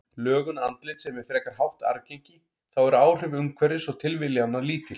Lögun andlits er með frekar hátt arfgengi, þá eru áhrif umhverfis og tilviljana lítil.